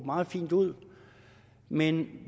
meget fint ud men